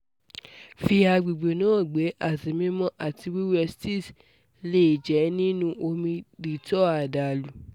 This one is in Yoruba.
fi agbegbe naa gbẹ ati mimọ ati wẹwẹ sitz le jẹ ninu omi dettol adalu